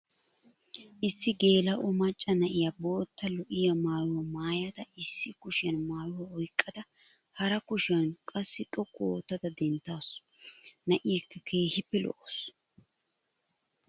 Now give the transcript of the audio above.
Issi geela'o macca na'iyaa bootta lo'iya maayyuwa maayada issi kushiyan maayuwaa oyqqada hara kushiya qassi xoqqu ootta denttaasu. Na'iyakka keehippe lo'awusu.